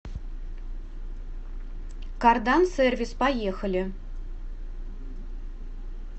кардансервис поехали